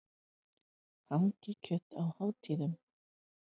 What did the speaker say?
Hangikjöt á hátíðum.